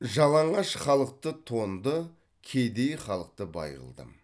жалаңаш халықты тонды кедей халықты бай қылдым